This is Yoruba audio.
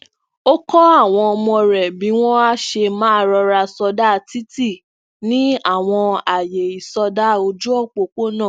ó kó àwọn ọmọ rè bí wón á ṣe máa rọra sọda titi ní awọn aaye isọda oju opopona